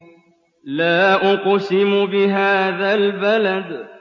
لَا أُقْسِمُ بِهَٰذَا الْبَلَدِ